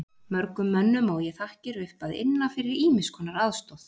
Mörgum mönnum á ég þakkir upp að inna fyrir ýmiss konar aðstoð.